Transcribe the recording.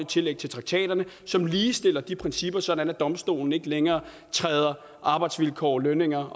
tillæg til traktaterne som ligestiller de principper sådan at domstolene ikke længere træder arbejdsvilkår lønninger